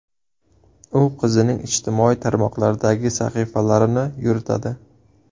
U qizining ijtimoiy tarmoqlardagi sahifalarini yuritadi.